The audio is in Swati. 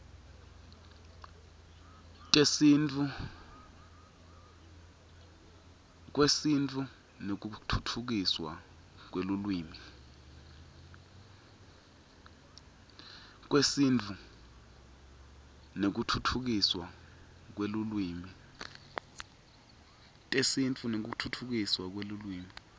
kwesintfu nekutfutfukiswa kwelulwimi